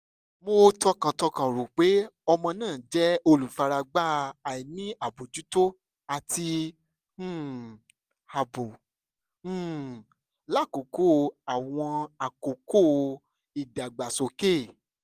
mo tọkàntọkàn ro pe ọmọ naa jẹ olufaragba aini abojuto ati um aabo um lakoko awọn akoko idagbasoke